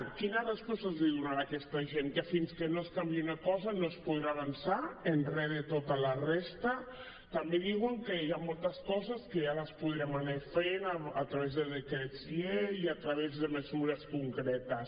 quina resposta els donarà a aquesta gent que fins que no es canviï una cosa no es podrà avançar en res de tota la resta també diuen que hi ha moltes coses que ja les podrem anar fent a través de decrets llei a través de mesures concretes